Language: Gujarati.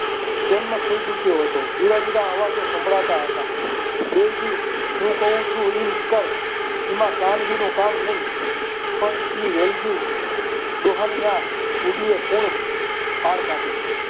જન્મ થઈ ચૂક્યો હતો જુદા જુદા અવાજો સંભળાતા હતા બેજી હું કહું છું એમ કર એમાં કાનજી નું કામ નહીં પણ એ વેલજી ડોહા ની આ પાર કાઢે છે.